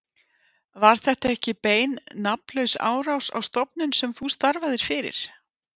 Var þetta ekki bein nafnlaus árás á stofnun sem þú starfaðir fyrir?